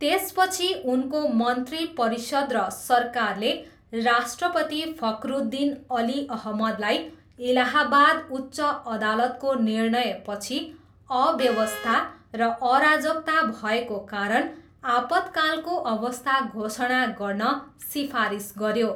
त्यसपछि उनको मन्त्री परिषद र सरकारले राष्ट्रपति फखरुद्दिन अली अहमदलाई इलाहाबाद उच्च अदालतको निर्णयपछि अव्यवस्था र अराजकता भएको कारण आपतकालको अवस्था घोषणा गर्न सिफारिस गऱ्यो।